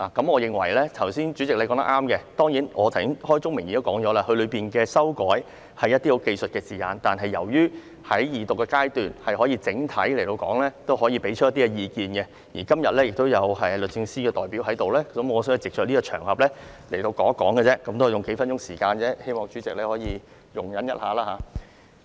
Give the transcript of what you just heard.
我認為主席剛才所說是對的，但我剛才已開宗明義表明，當中的修改屬於字眼上的技術性修訂，但由於現在是二讀階段，我可以提出來作整體討論及表達意見，而且今天亦有律政司的代表在席，我想藉這個場合表達意見而已，只是用數分鐘時間，希望主席可以稍作容忍。